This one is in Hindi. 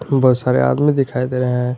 बहुत सारे आदमी दिखाई दे रहे हैं।